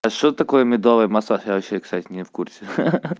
а что такое медовый массаж я вообще кстати не в курсе ха-ха-ха